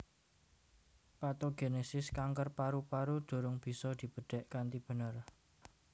Patogenesis kanker paru paru durung bisa dibedhek kanthi bener